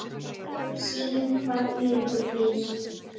Sýnum hvað í okkur býr.